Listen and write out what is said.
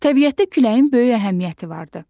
Təbiətdə küləyin böyük əhəmiyyəti vardır.